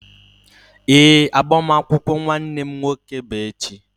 Ee, agbamakwụkwọ nwanne m nwoke bụ echi.